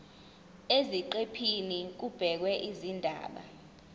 eziqephini kubhekwe izindaba